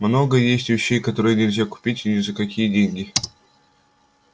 много есть вещей которые нельзя купить ни за какие деньги